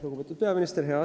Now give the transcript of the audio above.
Lugupeetud peaminister!